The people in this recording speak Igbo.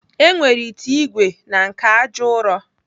E nwere ite ìgwè na nke àjà ụrọ.